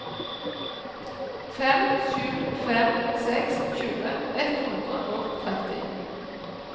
fem sju fem seks tjue ett hundre og tretti